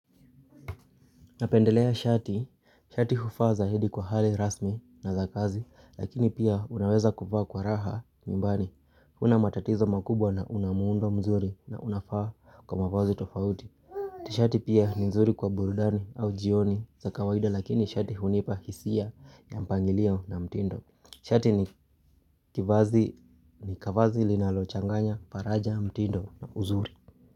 Napendelea shati, shati huvaa zaidi kwa hali rasmi na za kazi lakini pia unaweza kuvaa kwa raha nyumbani una matatizo makubwa na una muundo mzuri na unafaa kwa mavazi tofauti Shati pia ni mzuri kwa burudani au jioni za kawaida lakini shati hunipa hisia ya mpangilio na mtindo Shati ni kivazi ni kavazi linalochanganya paraja mtindo na uzuri.